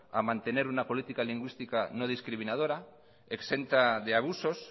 a mantener una política lingüística no discriminadora exenta de abusos